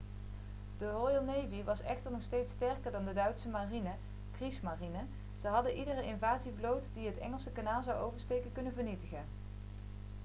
de royal navy was echter nog steeds sterker dan de duitse marine 'kriegsmarine'. ze hadden iedere invasievloot die het engelse kanaal zou oversteken kunnen vernietigen